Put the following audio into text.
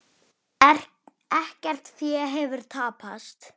Ekkert fé hefur tapast.